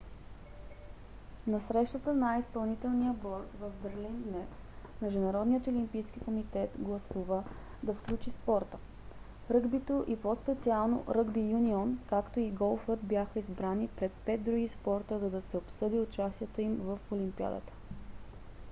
на срещата на изпълнителния борд в берлин днес международният олимпийски комитет гласува да включи спорта. ръгбито и по-специално ръгби юнион както и голфът бяха избрани пред пет други спорта за да се обсъди участието им в олимпиадата